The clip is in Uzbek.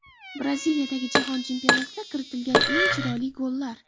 Braziliyadagi Jahon chempionatida kiritilgan eng chiroyli gollar .